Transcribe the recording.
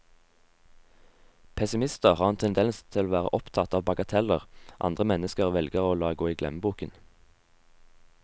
Pessimister har en tendens til å være opptatt av bagateller andre mennesker velger å la gå i glemmeboken.